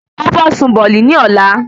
Ó fẹ́ sun bọ̀ọ̀lì ní ọ̀la